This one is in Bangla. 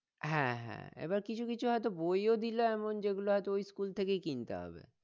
হ্যাঁ হ্যাঁ এবার কিছু কিছু হইত বই ও দিল এমন যেগুলো হইত ওই school থেকেই কিনতে হবে